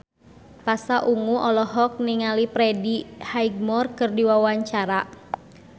Pasha Ungu olohok ningali Freddie Highmore keur diwawancara